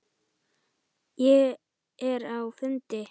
Ég er á fundi